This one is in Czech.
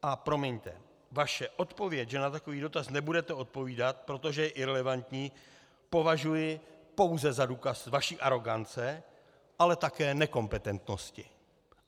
A promiňte, vaše odpověď, že na takový dotaz nebudete odpovídat, protože je irelevantní, považuji pouze za důkaz vaší arogance, ale také nekompetentnosti.